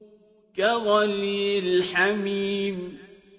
كَغَلْيِ الْحَمِيمِ